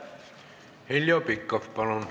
Heljo Pikhof, palun!